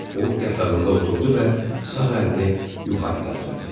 O yatağında oturdu və sağ əlini yuxarı qaldırdı.